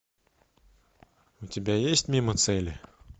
у тебя есть мимо цели